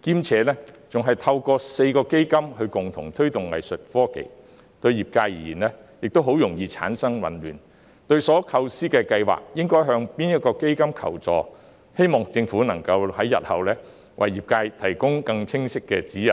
兼且透過4個基金共同推動藝術科技，對業界而言容易產生混亂，不知所構思的計劃應向哪一基金求助，我希望政府日後能為業界提供更清晰的指引。